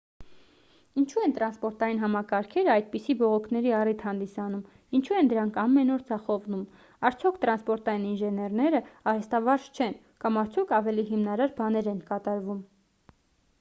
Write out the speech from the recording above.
ինչու են տրանսպորտային համակարգերը այդպիսի բողոքների առիթ հանդիսանում ինչու են դրանք ամեն օր ձախողվում արդյոք տրանսպորային ինժեներնեը արհեստավարժ չեն կամ արդյոք ավելի հիմնարար բաներ են կատարվում